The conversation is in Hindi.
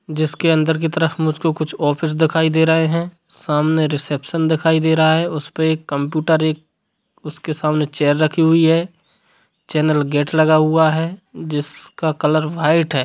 जिसके अंदर की तरफ मुझको कुछ ऑफिस दिखाई दे रहें हैं सामने रिसेप्शन दिखाई दे रहा है उसपे एक कंप्यूटर एक उसके सामने चेयर रखी हुई है चैनल गेट लगा हुआ है जिसका कलर व्हाइट है।